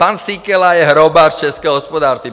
Pan Síkela je hrobař českého hospodářství.